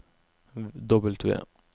W